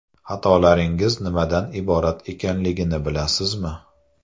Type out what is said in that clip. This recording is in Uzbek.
Xatolaringiz nimadan iborat ekanligini bilasizmi?